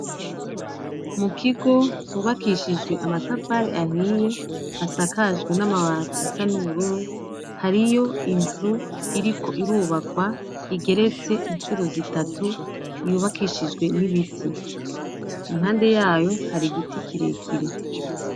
Mu kigo hubakishije amatafari ahiye hasakaje n'amabati asa n'ubururu, hariyo inzu iriko irubakwa igeretse incuro zitatu yubakishijwe n'ibiti. Impande yayo hari igiti kirekire.